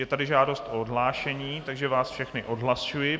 Je tady žádost o odhlášení, takže vás všechny odhlašuji.